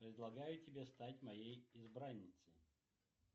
предлагаю тебе стать моей избранницей